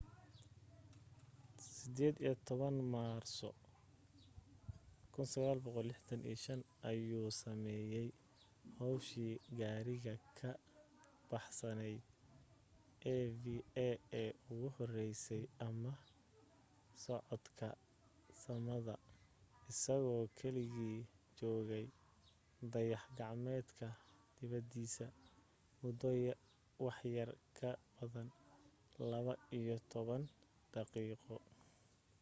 18 maarso 1965 ayuu sameeyay hawshii gaariga ka baxsanayd eva ee ugu horeysay ama socodka samada isagoo keligii joogay dayax gacmeedka dibadiisa muddo waxyar ka badan laba iyo toban daqiiqo